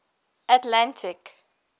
atlantic